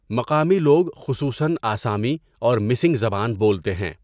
مقامی لوگ خصوصن آسامی اور مِسِنگ زبان بولتے ہیں۔